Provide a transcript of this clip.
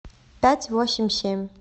пять восемь семь